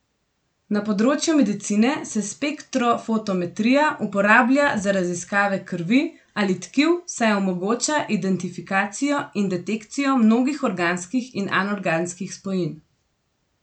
Na področju medicine se spektrofotometrija uporablja za raziskave krvi ali tkiv, saj omogoča identifikacijo in detekcijo mnogih organskih in anorganskih spojin.